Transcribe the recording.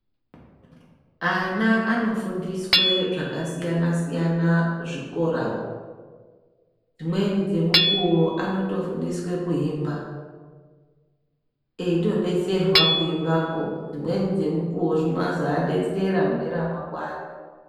Ana anofundiswe zvakasiyana siyana muzvikora umu. Dzimweni dzemukuwo anotofundiswa kuimba eitodetserwa kuimbakwo. Dzimweni dzemukuwo zvinozovadetsera mangwani.